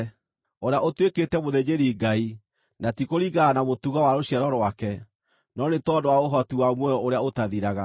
ũrĩa ũtuĩkĩte mũthĩnjĩri-Ngai, na ti kũringana na mũtugo wa rũciaro rwake, no nĩ tondũ wa ũhoti wa muoyo ũrĩa ũtathiraga.